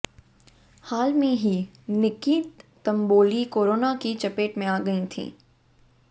हाल में ही निक्की तंबोली कोरोना की चपेत में आ गई थीं